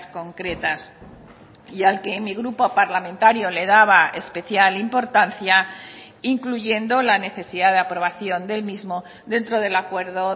concretas y al que mi grupo parlamentario le daba especial importancia incluyendo la necesidad de aprobación del mismo dentro del acuerdo